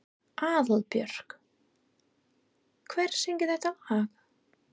Aðalborg, hver syngur þetta lag?